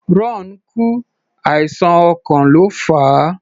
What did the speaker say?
Ron kú, àìsàn ọkàn ló fà á.